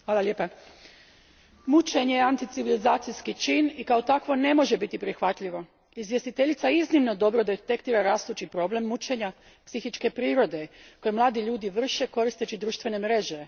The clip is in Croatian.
Gospodine predsjedniče, mučenje je anti civilizacijski čin i kao takvo ne može biti prihvatljivo. Izvjestiteljica iznimno dobro detektira rastući problem mučenja psihičke prirode koji mladi ljudi vrše koristeći društvene mreže.